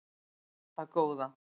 Það góða